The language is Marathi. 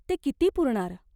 ते किती पुरणार?